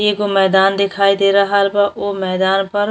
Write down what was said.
एगो मैदान देखाई दे रहल बा। ओ मैदान पर --